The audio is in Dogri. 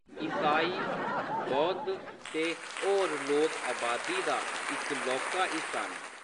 ईसाई, बौद्ध ते होर लोक अबादी दा इक लौह्‌‌‌का हिस्सा न।